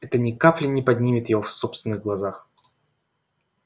это ни капли не поднимет его в собственных глазах